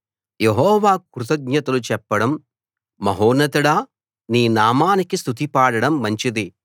యెహోవాకు కృతజ్ఞతలు చెప్పడం మహోన్నతుడా నీ నామానికి స్తుతి పాడడం మంచిది